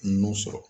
Nun sɔrɔ